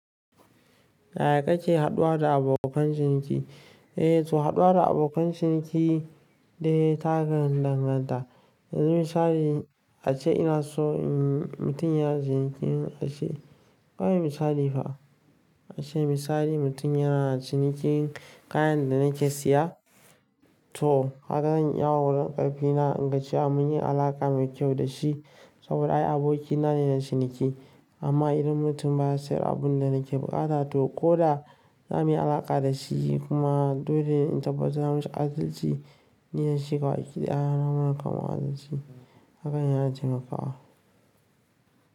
Ya ya ka ke haɗuwa da abokan ciniki? EA, to haɗuwa da abokan ciniki dai ta danganta. Yanzu misali ace ina so mutum yana cinikin ace, ba mi misali fa. Ace misali mutum yana cinikin kayan da nake siya to kaga zan iya wa wurin ƙarfe na inga ci a mun yi alaka mai kyau da shi saboda ai abokina ne na ciniki. Amma idan mutum baya sayar abun da nake buƙata to ko da na mi alaka da shi kuma dole in tabbatar da mun ci adalci, ni da shi kawai kiɗaya na mun kama adalci hakan yana yana taimakawa.